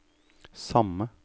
samme